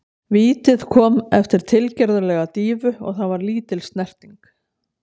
Vítið kom eftir tilgerðarlega dýfu og það var lítil snerting.